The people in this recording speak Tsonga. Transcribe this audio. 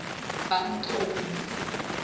bantomu